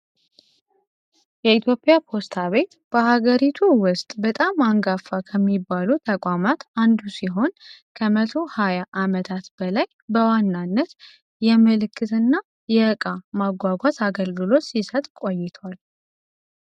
የኢትዮጵያ ፖስታ ቤት በሀገሪቱ ውስጥ በጣም አንጋፋ ከሚባሉት ተቋማት አንዱ ሲሆን ከመቶ ሀያ አመት በላይ በዋናነት የመልዕክት እና የእቃ ማጓጓዝ አገልግሎት ሲሰጥ ቆይቷል።